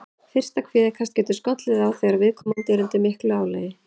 Fyrsta kvíðakast getur skollið á þegar viðkomandi er undir miklu álagi.